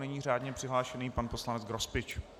Nyní řádně přihlášený pan poslanec Grospič.